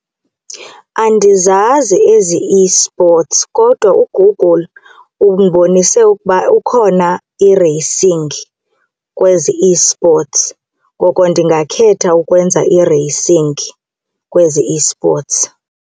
Andizazi ezi esports kodwa uGoogle undibonise ukuba ukhona i-racing kwezi esports ngoko ndingakhetha ukwenza i-racing kwezi esports.